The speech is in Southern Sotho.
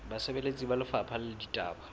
basebeletsi ba lefapha la ditaba